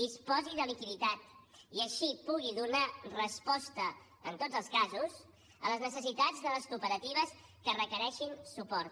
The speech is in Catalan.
disposi de liquiditat i així pugui donar resposta en tots els casos a les necessitats de les cooperatives que requereixin suport